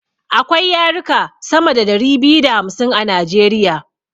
Akwai yaruka sama da dari biyu da hamsin a najeriya